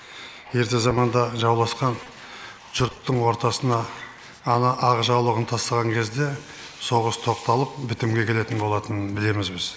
ерте заманда жауласқан жұрттың ортасына ана ақ жаулығын тастаған кезде соғыс тоқталып бітімге келетін болатынын білеміз біз